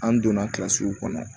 An donna kɔnɔ